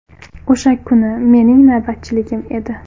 O‘sha kuni mening navbatchiligim edi.